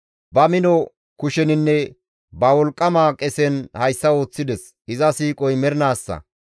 Ba mino kusheninne ba wolqqama qesen hayssa ooththides; iza siiqoy mernaassa.